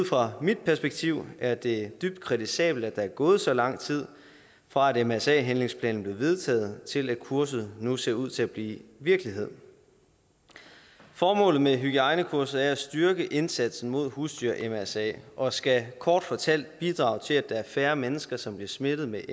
fra mit perspektiv er det dybt kritisabelt at der er gået så lang tid fra at mrsa handlingsplanen blev vedtaget til at kurset nu ser ud til at blive virkelighed formålet med hygiejnekurset er at styrke indsatsen mod husdyr mrsa og skal kort fortalt bidrage til at der er færre mennesker som bliver smittet med